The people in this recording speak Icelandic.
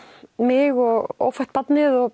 mig og ófætt barnið og